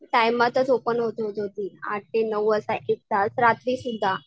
टायमातच open होत होती. आठ ते नऊ वाजता एक तास रात्री सुद्धा.